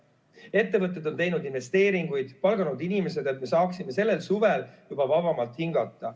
Ettevõtted on teinud investeeringuid, palganud inimesed, et saaksime sellel suvel juba vabamalt hingata.